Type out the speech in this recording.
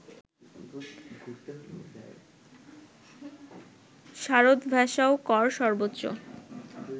শারদ ভেশাওকর সর্বোচ্চ